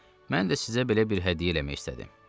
Mən də sizə belə bir hədiyyə eləmək istədim.